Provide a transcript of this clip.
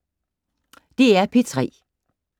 DR P3